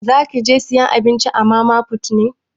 Zaki je sayan abinci a mama put ne?